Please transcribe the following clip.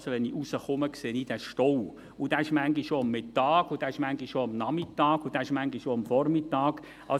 Das heisst, wenn ich hinausgehe, sehe ich diesen Stau, und der ist manchmal auch am Mittag, manchmal auch am Nachmittag und manchmal auch am Vormittag da.